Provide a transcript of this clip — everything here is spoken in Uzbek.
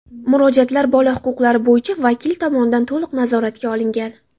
Murojaatlar bola huquqlari bo‘yicha vakil tomonidan to‘liq nazoratga olingan.